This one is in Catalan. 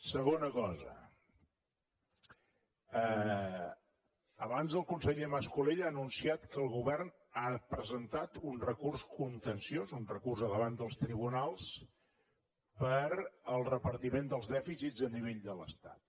segona cosa abans el conseller mas colell ha anunciat que el govern ha presentat un recurs contenciós un recurs davant dels tribunals per al repartiment dels dèficits a nivell de l’estat